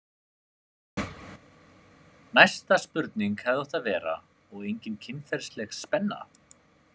Næsta spurning hefði átt að vera: og engin kynferðisleg spenna?